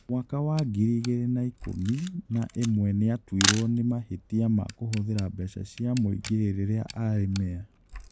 Mwaka wa ngiri igĩrĩ na ikũmi na ĩmwe nĩ aatuirwo nĩ mahĩtia ma kũhũthĩra mbeca cia mũingĩ rĩrĩa aarĩ mĩa.